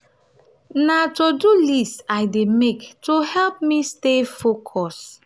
na to-do list i dey make to help me stay focused.